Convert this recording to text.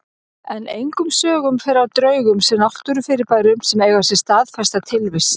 En engum sögum fer af draugum sem náttúrufyrirbærum sem eiga sér staðfesta tilvist.